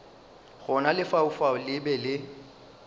gona lefaufau le be le